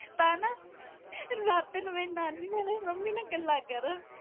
ਤਾਂ ਨਾ ਰਾਤੀ ਨੂੰ ਮੇਰੀ ਨਾਨੀ ਹੁਣੀ ਮੇਰੀ ਮੰਮੀ ਨਾ ਗੱਲਾਂ ਕਰਨ।